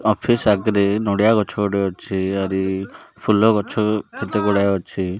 Office ଆଗରେ ନଡ଼ିଆ ଗଛ ଗୋଟେ ଅଛି ଆଉରି ଫୁଲ ଗଛ କେତେ ଗୁଡା ଅଛି।